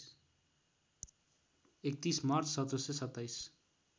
३१ March १७२७